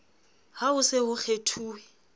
ha ho se ho kgethuwe